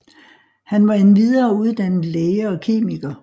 Han var endvidere uddannet læge og kemiker